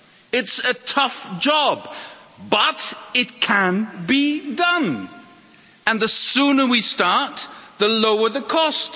It's a tough job, but it can be done, and the sooner we start, the lower the cost.